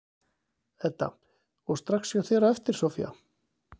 Edda: Og strax hjá þér á eftir, Soffía?